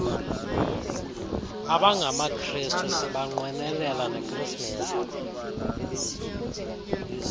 abangamakrestu sibanqwenelela nekrismesi